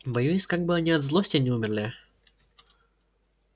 боюсь как бы они от злости не умерли